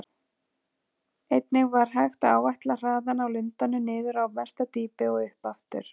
Einnig var hægt að áætla hraðann á lundanum niður á mesta dýpi og upp aftur.